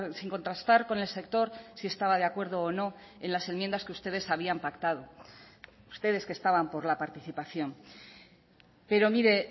sin contrastar con el sector si estaba de acuerdo o no en las enmiendas que ustedes habían pactado ustedes que estaban por la participación pero mire